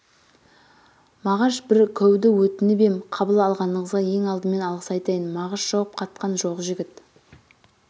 мағаш бір көуді өтініп ем қабыл алғаныңызға ең алдымен алғыс айтайын мағыш жауап қатқан жоқ жігіт